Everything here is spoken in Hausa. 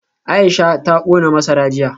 Aisha ta kona masara jiya